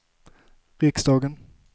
riksdagen